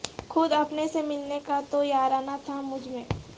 خود اپنے سے ملنے کا تو یارانہ تھا مجھ میں